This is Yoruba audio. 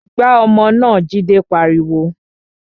Gbá ọmọ náà! Jide pariwo